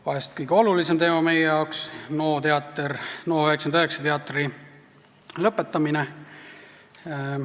Vahest kõige olulisem teema meie jaoks on Teater NO99 lõpetamine.